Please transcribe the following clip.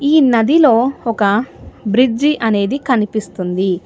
ఈ నది లో ఒక బ్రిడ్జి అనేది కనిపిస్తుంది.